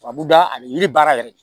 Tubabu da ani yiri baara yɛrɛ